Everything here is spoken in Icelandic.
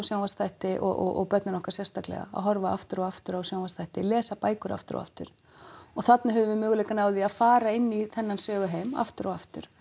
sjónvarpsþætti og börnin okkar sérstaklega að horfa aftur og aftur á sjónvarpsþætti lesa bækur aftur og aftur og þarna höfum við möguleikann á því að fara inn í þennan söguheim aftur og aftur